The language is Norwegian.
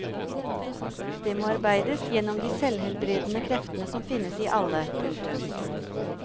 Det må arbeides gjennom de selvhelbredende kreftene som finnes i alle. punktum